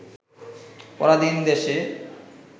পরাধীন দেশে